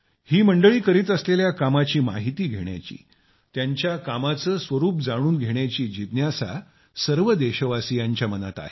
ही मंडळी करीत असलेल्या कामाची माहिती घेण्याची त्यांच्या कामाचं स्वरूप जाणून घेण्याची जिज्ञासा सर्व देशवासियांच्या मनात आहे